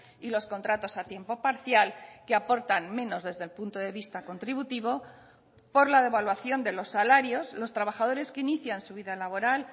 y los contratos a tiempo parcial que aportan menos desde el punto de vista contributivo por la devaluación de los salarios los trabajadores que inician su vida laboral